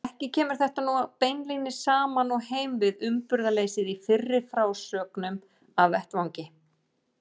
Ekki kemur þetta nú beinlínis saman og heim við uppburðarleysið í fyrri frásögnum af vettvangi.